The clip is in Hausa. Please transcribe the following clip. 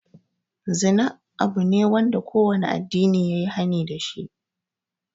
Zina abu ne da kowane addini yayi hani dashi.